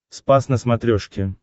спас на смотрешке